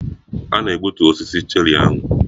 A na-egbutu osisi cherri ahụ.